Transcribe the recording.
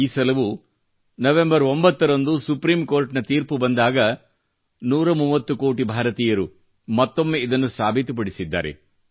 ಈ ಸಲವೂ ನವೆಎಂಬರ್ 9 ರಂದು ಸುಪ್ರೀಮ್ ಕೋರ್ಟ್ ನ ತೀರ್ಪು ಬಂದಾಗ 130 ಕೋಟಿ ಭಾರತೀಯರು ಮತ್ತೊಮ್ಮೆ ಇದನ್ನು ಸಾಬೀತುಪಡಿಸಿದ್ದಾರೆ